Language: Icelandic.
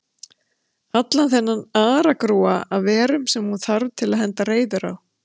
Allan þennan aragrúa af verum sem hún þarf að henda reiður á.